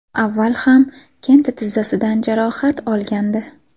Avval ham Kante tizzasidan jarohat olgandi.